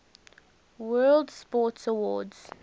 world sports awards